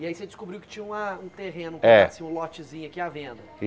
E aí você descobriu que tinha um terreno É, um lotezinho aqui à venda?